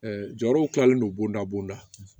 jɔyɔrɔw kilalen don bondabo la